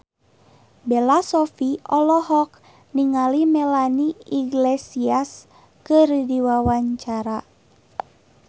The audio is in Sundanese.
Bella Shofie olohok ningali Melanie Iglesias keur diwawancara